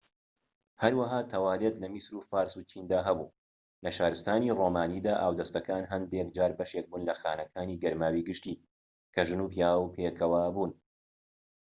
هەروەها تەوالێت لە میسر و فارس و چیندا هەبوو لە شارستانی ڕۆمانیدا ئاودەستەکان هەندێک جار بەشێک بوون لە خانەکانی گەرماوی گشتی کە ژن و پیاو پێکەوە بوون